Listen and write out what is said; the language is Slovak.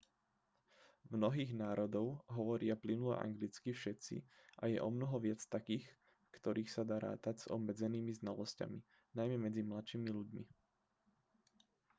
v mnohých národov hovoria plynule anglicky všetci a je omnoho viac takých v ktorých sa dá rátať s obmedzenými znalosťami najmä medzi mladšími ľuďmi